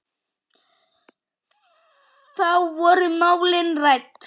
Þá voru málin rædd.